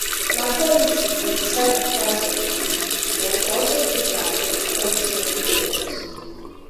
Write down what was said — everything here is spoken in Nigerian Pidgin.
na quality go decide di price of goods but we go also chook eye for di quality of di product